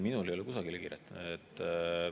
Minul ei ole kusagile kiiret.